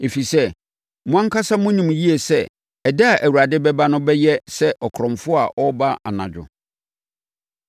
Ɛfiri sɛ, mo ankasa monim yie sɛ ɛda a Awurade bɛba no bɛyɛ sɛ ɔkorɔmfoɔ a ɔreba anadwo.